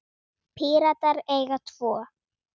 Píratar eiga tvo.